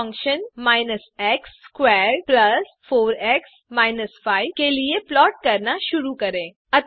अब function minus x squared plus four x minus 5 के लिए प्लॉट करना शुरू करें